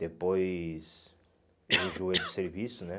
depois eu enjoei do serviço, né?